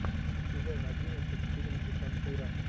сезон одиннадцать фильм десантура